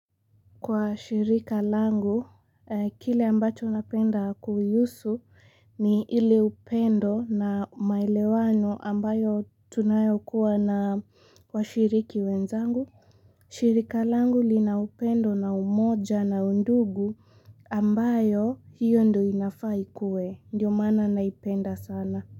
Kwa shirika langu kile ambacho napenda kuiusu ni ile upendo na maelewano ambayo tunayo kuwa na washiriki wenzangu shirika langu li na upendo na umoja na undugu ambayo hio ndo inafaa ikue ndio maana naipenda sana.